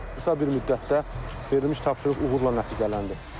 verilmiş tapşırıq uğurla nəticələndi.